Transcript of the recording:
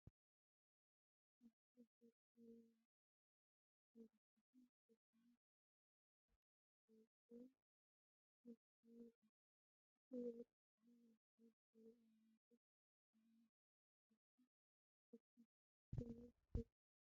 እቶም ፍቱዋት ወርቃውያን ፔንደንታትን ስብስባት ስልማትን ኣብ ጽባቐን ውቁብን ምድላው ይቐርቡ። እቲ ውዑይ ቀጠልያን ወርቃውን ሕብሪ ኣብቲ ምርኢት ዝተፈላለየ ስሕበት ብምፍጣር ልቢ ዝትንክፍ ስምዒት ይፈጥር።